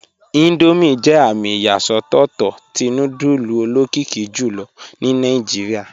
Indomie jẹ amì iyasọtọ̀tọ́ tí núdùlù olokìkì jùlọ̀ ní Nàìjíríà